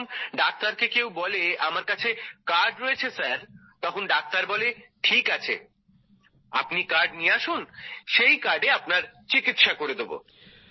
যখন ডাক্তারকে কেউ বলে আমার কাছে কার্ড রয়েছে স্যার তখন ডাক্তার বলে ঠিক আছে আপনি কার্ড নিয়ে আসুন আমি সেই কার্ডে আপনার চিকিৎসা করে দেবো